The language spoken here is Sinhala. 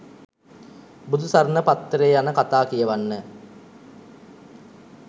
බුදුසරණ පත්තරේ යන කතා කියවන්න